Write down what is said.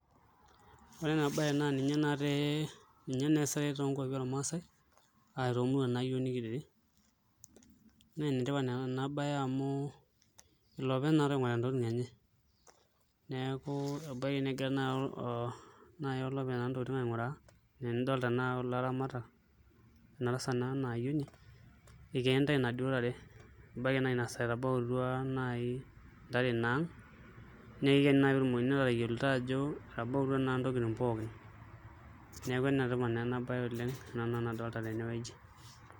Ore ena baye naa ninye eesitai toonkuapi ormaasae ashu toomuruan naa iyiook nekitii naa enetipat ena baye amu iloopeny naatoi oing'orita ntokitin enye neeku ebaiki negira naai naa olopeny ntokitin aing'uraa enaa enidolta tanakata kulo aramatak ena tasat naa o ena ayioni, kenitai inaduo tare ebaiki naa ina saa etabautua naa ntare ang' neeku kikene naa pee eyiolouni enaa ketabautua ntokitin pookin, neeku enetipat naa ena baye oleng' ena nadolita tenewueji.